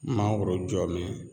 Mangoro jɔbɛn